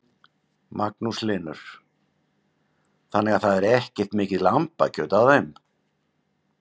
Magnús Hlynur: Þannig að það er ekkert mikið lambakjöt á þeim?